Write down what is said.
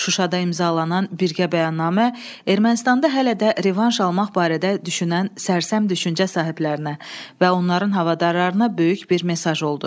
Şuşada imzalanan birgə bəyannamə Ermənistanda hələ də revanş almaq barədə düşünən sərsəm düşüncə sahiblərinə və onların havadarlarına böyük bir mesaj oldu.